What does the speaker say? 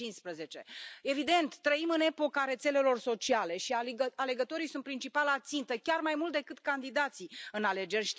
2015. Evident, trăim în epoca rețelelor sociale și alegătorii sunt principala țintă, chiar mai mult decât candidații în alegeri.